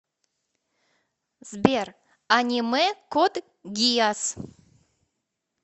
сбер аниме код гиас